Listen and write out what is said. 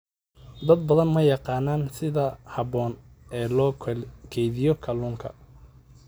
Dad badan ma yaqaaniin sida habboon ee loo kaydiyo kalluunka.